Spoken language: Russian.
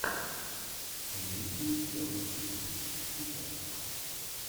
имеется ли у тебя лучший выпуск сикера